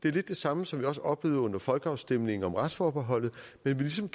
er den samme som vi også oplevede under folkeafstemningen om retsforbeholdet man vil ligesom